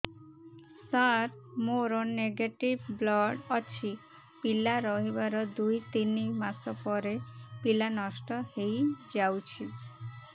ସାର ମୋର negative blood ଅଛି ପିଲା ରହିବାର ଦୁଇ ତିନି ମାସ ପରେ ପିଲା ନଷ୍ଟ ହେଇ ଯାଉଛି